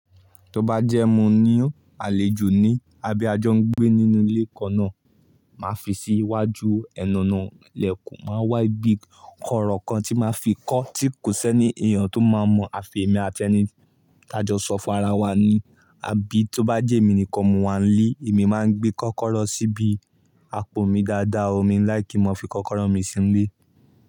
Tó bá jẹ́ mo ní àlejò ní, a bí a jọ ń gbé nínú ilé kan náà, màá fi sí iwájú ẹnu ọ̀nà ilẹ̀kùn, màá wá ibí kọ́rọ́ kan tí màá fi kọ́ tí kò sé ní èèyàn tó máa mọ àfì emi ati ẹni tájọ sọ fún ara wa ni. Àbí tó bá jẹ́mi nìkan mo wà nílé, èmi máa gbé kọ́kọ́rọ́ sí ibi àpò mi dáadáa, mi ń láikí n má fi kọ́kọ́rọ́ mi sínú ilé.